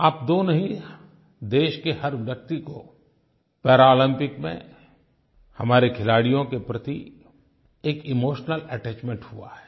आप दो नहीं देश के हर व्यक्ति को पैरालम्पिक्स में हमारे खिलाडियों के प्रति एक इमोशनल अटैचमेंट हुआ है